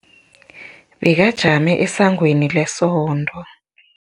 Bekajame esangweni lesonto.